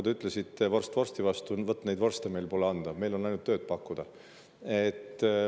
Te ütlesite, et vorst vorsti vastu, aga vot neid vorste pole meil anda, meil on ainult tööd pakkuda.